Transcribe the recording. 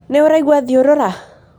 Nĩ ũraigwa thiorora?